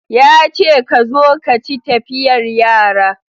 Ya ce ka zo ka ci tafiyar yara